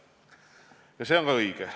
Ja see on õige.